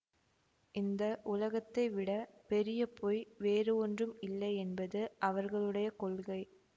இந்த உலகத்தைவிட பெரிய பொய் வேறு ஒன்றும் இல்லையென்பது அவர்களுடைய கொள்கை